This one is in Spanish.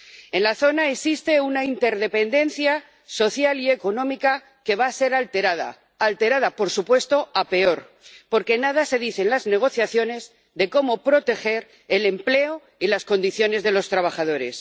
En la zona existe una interdependencia social y económica que va a ser alterada, alterada, por supuesto, a peor, porque nada se dice en las negociaciones de cómo proteger el empleo y las condiciones de los trabajadores.